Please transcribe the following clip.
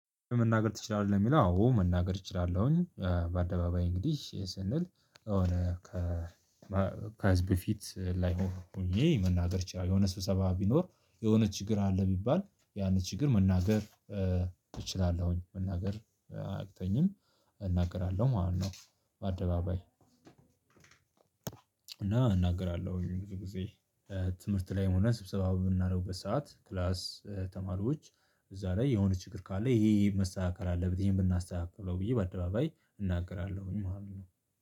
መናገር ትችላለህ? የሚለው አዎ መናገር እችላለሁኝ በአደባባይ እንግዲህ ስንል የሆነ ከ ከህዝብ ፊት በፊት ላይ ሆኜ መናገር ችላለሁ። የሆነ ስብሰባ ቢኖር የሆነ ችግር አለ ቢባል ያንን ችግር መናገር እችላለሁኝ መናገር አያቅተኝም እናገራለሁ ማለት ነው። በአደባባይ እና እናገራለሁ ብዙ ጊዜ ትምህርት ላይም ሆነ ስብሰባ በምናደርግበት ሰዓት ክላስ ተማሪዎች እዛ ላይ የሆነ ችግር ካለ ይሄ ይሄመስተካከል አለበት ብናስተካክለው ብዬ በአደባባይ እናገራለሁኝ። ማለት ነው